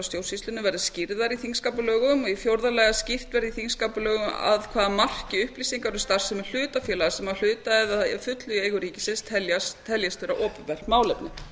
stjórnsýslunni verði skýrðar í þingskapalögum í fjórða lagi að skýrt verði í þingskapalögum að hvaða marki upplýsingar um starfsemi hlutafélaga sem eru að hluta eða að fullu í eigu ríkisins teljist vera opinbert málefni